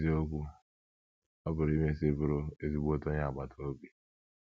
N’eziokwu, ọ pụrụ imesị bụrụ ezigbote onye agbata obi!